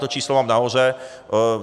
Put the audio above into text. To číslo mám nahoře.